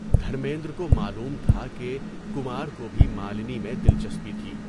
دھرمیندر کو معلوم تھا کہ کمار کو بھی مالنی میں دلچسپی تھی۔